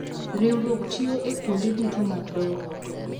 Riwruok tiyo e kuonde duto mag dongruok.